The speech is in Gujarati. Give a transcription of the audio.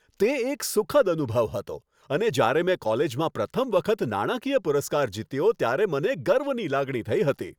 તે એક સુખદ અનુભવ હતો અને જ્યારે મેં કોલેજમાં પ્રથમ વખત નાણાકીય પુરસ્કાર જીત્યો ત્યારે મને ગર્વની લાગણી થઈ હતી.